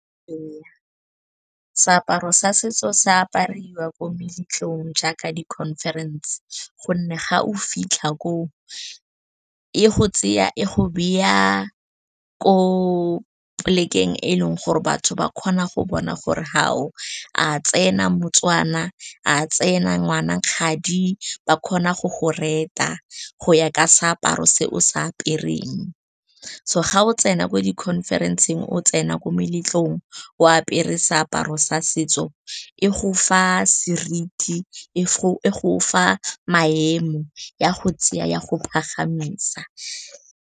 Seaparo sa setso se apariwa ko meletlong jaaka di-conference gonne fa o fitlha ko, e go tseya e go beya ko plek-eng, eleng gore batho ba kgona go bona gore a tsena moTswana, a tsena ngwana kgadi, ba kgona go go rete go ya ka seaparo se o sa apereng. So ga o tsena ko di-conference-eng, o tsena ko meletlong o apere seaparo sa setso, e go fa seriti, e go fa maemo, ya go tseya ya go pagamisa.